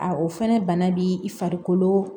A o fɛnɛ bana b'i farikolo